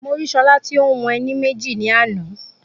Mo rí Ṣọlá tí o ń hun ẹní méjì ní àná